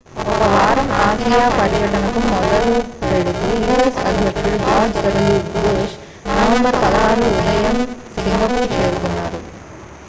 ఒక వారం ఆసియా పర్యటనను మొదలుపెడుతూ u.s. అధ్యక్షుడు george w bush నవంబర్ 16 ఉదయం సింగపూర్ చేరుకున్నారు